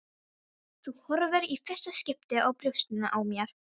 Þú horfir í fyrsta skipti á brjóstin á mér.